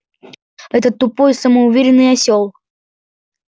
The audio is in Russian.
этот тупой самоуверенный осёл